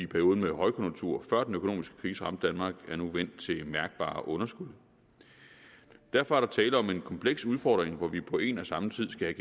perioden med højkonjunktur før den økonomiske krise ramte danmark er nu vendt til mærkbare underskud derfor er der tale om en kompleks udfordring hvor vi på en og samme tid skal